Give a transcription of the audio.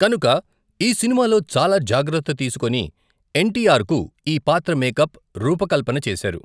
కనుక ఈ సినిమాలో చాలా జాగ్రత్త తీసుకొని ఎన్.టి.ఆర్.కు ఈ పాత్ర మేకప్ రూప కల్పన చేశారు.